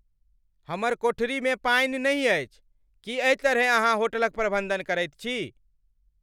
हमर कोठरीमे पानि नहि अछि। की एहि तरहेँ अहाँ होटलक प्रबंधन करैत छी?